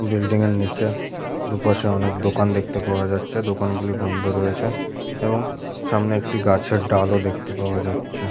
বিল্ডিঙের নিচে দুপাশে অনেক দোকান দেখতে পাওয়া যাচ্ছে দোকান গুলি বন্ধ রয়েছে এবং সামনে একটি গাছের ডাল ও দেখতে পাওয়া যাচ্ছে--